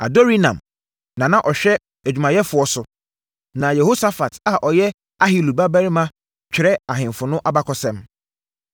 Adorinam na na ɔhwɛ adwumayɛfoɔ so, na Yehosafat a ɔyɛ Ahilud babarima twerɛ ahemfo ho abakɔsɛm.